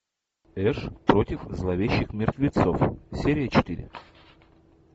эш против зловещих мертвецов серия четыре